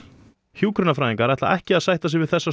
hjúkrunarfræðingarnir ætla ekki að sætta sig við þessa